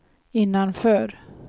innanför